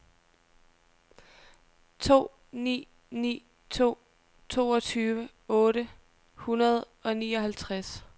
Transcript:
to ni ni to toogtyve otte hundrede og nioghalvtreds